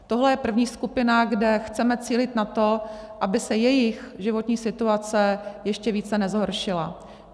Tohle je první skupina, kde chceme cílit na to, aby se jejich životní situace ještě více nezhoršila.